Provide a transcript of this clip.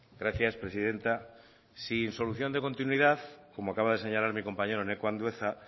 gracias presidenta sin solución de continuidad como acaba de señalar mi compañero eneko andueza